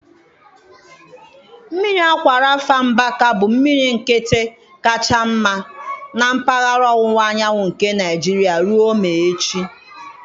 Mmiri Akwa Rafa Mbaka bụ mmiri nkịtị kacha mma na mpaghara ọwụwa anyanwụ nke Nigeria ruo maa echi.